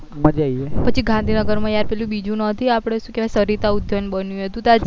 મજા આવી જાય પછી ગાંધીનગર માં પેલું બીજું નાતુ કેવાય આપડે શું કેવાય સરિતા ઉધાયન બન્યું હતું તું તાર